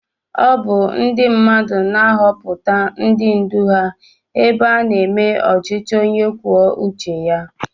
Ọ bụ ndị mmadụ na-ahọpụta ndị ndú ha ebe a na-eme ọchịchị onye kwuo uche ya